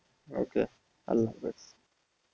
okay আল্লাহ হাফিস।